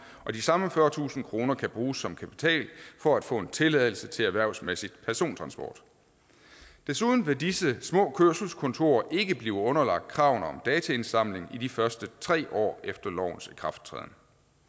og de samme fyrretusind kroner kan bruges som kapital for at få en tilladelse til erhvervsmæssig persontransport desuden vil disse små kørselskontorer ikke blive underlagt kravene om dataindsamling i de første tre år efter lovens ikrafttræden